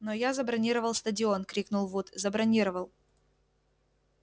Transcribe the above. но я забронировал стадион крикнул вуд забронировал